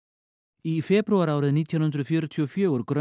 í febrúar árið nítján hundruð fjörutíu og fjögur